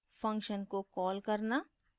function को call करना